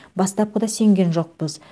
бастапқыда сенген жоқпыз